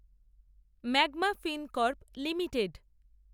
magma Fincorp limited